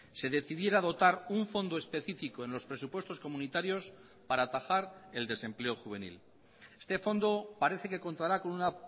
se decidiera dotar un fondo específico en los presupuestos comunitarios para atajar el desempleo juvenil este fondo parece que contará con una